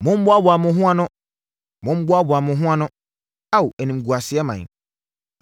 Mommoaboa mo ho ano, mommoaboa mo ho ano, Ao, animguaseɛ ɔman,